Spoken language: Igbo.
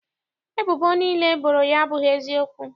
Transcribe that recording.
Ebubo niile e boro ya abụghị eziokwu.